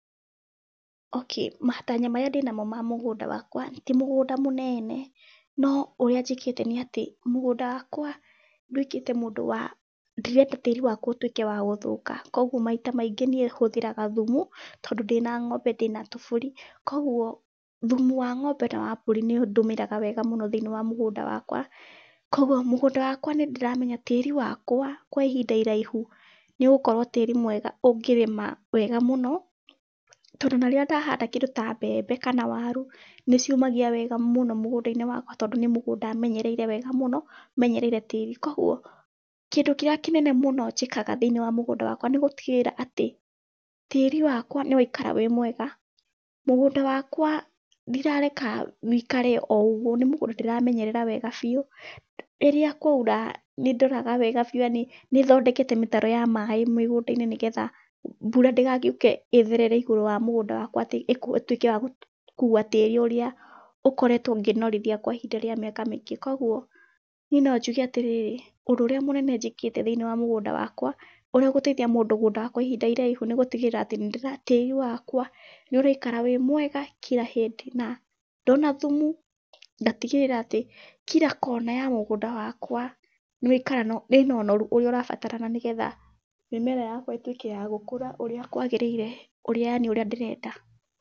Okay matanya marĩa ndĩnamo ma mũgũnda wakwa, ti mũgũnda mũnene, no ũrĩa njĩkĩte nĩ atĩ mũgũnda wakwa nduĩkĩte mũndũ wa ndirenda tĩri wakwa ũtuĩke wa gũthũka. Koguo maita maingĩ niĩ ũthĩraga thumu, tondũ ndĩna ng'ombe na ndĩna tũbũri. Koguo thumu wana wa ng'ombe na wa mbũri nĩ ndĩmĩraga wega mũno thĩiniĩ wa mũgũnda wakwa. Koguo mũgũnda wakwa nĩ ndĩramenya tĩri wakwa kwĩ ihinda iraihu nĩ ũgũkorwo tĩri mwega ũngĩrĩma wega mũno. Tondũ ona rĩrĩa ndahanda kĩndũ ta mbembe kana waru, nĩ ciumagia wega mũno mũgũnda-inĩ wakwa tondũ nĩ mũgũnda menyereire wega mũno, menyereire tĩri. Koguo kĩndũ kĩrĩa kĩnene mũno njĩkaga thĩiniĩ wa mũgũnda wakwa nĩ gũtigĩrĩra atĩ, tĩri wakwa nĩ waikara wĩ mwega. Mũgũnda wakwa ndirareka ũikare o ũguo, nĩ mũgũnda ndĩramenyerera wega biũ. Rĩrĩa kwaura nĩ ndoraga wega biũ yaani nĩ thondekete mĩtaro ya maĩ mĩgũnda-inĩ nĩgetha mbura ndĩgagĩũke ĩtherere igũrũ wa mũgũnda wakwa atĩ ĩtuĩke ya gũkua tĩri ũrĩa ũkoretwo ngĩnorithia kwa ihinda rĩa mĩaka mĩingĩ. Koguo niĩ no njuge atĩrĩrĩ, ũndũ ũrĩa mũnene njĩkĩte thĩiniĩ wa mũgũnda wakwa, ũrĩa ũgũteithia mũgũnda wakwa ihinda iraihu nĩ gũtigĩrĩra atĩ, tĩri wakwa nĩ ũraikara wĩ mwega kila hĩndĩ. Na ndona thumu ngatigĩrĩra atĩ kila kona ya mũgũnda wakwa ĩna ũnoru ũrĩa ũrabatarana, nĩgetha mĩmera yakwa ĩtuĩke ya gũkũra ũrĩa kwagĩrĩire ũrĩa yaani ũrĩa ndĩrenda.